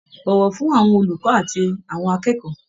Bọ̀wọ̀ fún àwọn olùkọ́ àti àwọn akẹ́kọ̀ọ́.